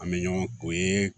An bɛ ɲɔgɔn o ye